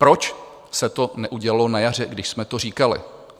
Proč se to neudělalo na jaře, když jsme to říkali?